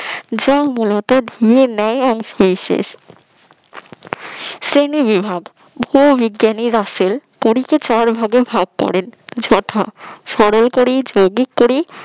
যা মূলত গিয়ের ন্যায় অংশ বিশেষ শ্রেণীবিভাগ ভূবিজ্ঞানী রাসেল পরীকে চার ভাগে ভাগ করেন যথা সরলপরী যৌগিক পরি